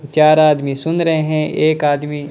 चार आदमी सुन रहे हैं एक आदमी --